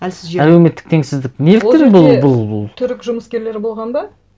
әлсіз жерде әлеуметтік теңсіздік неліктен бұл ол жерде түрік жұмыскерлері болған ба